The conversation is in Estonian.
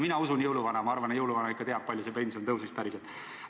Mina usun jõuluvana, ma arvan, jõuluvana ikka teab, kui palju pension päriselt tõusis.